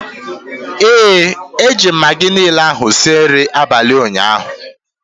ee, eji m Maggi niile ahu sie nri abalị ụnyaahụ